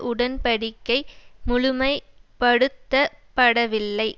உடன் படிக்கை முழுமைபடுத்தப்படவில்லை